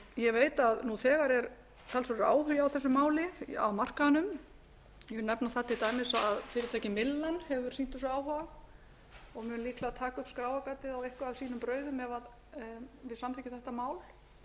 ég veit að nú þegar er talsverður áhugi á þessu máli á markaðnum ég vil nefna það til dæmis að fyrirtækið myllan hefur sýnt þessu áhuga og mun líklega taka upp skráargatið á eitthvað af sínum brauðum ef við samþykkjum þetta mál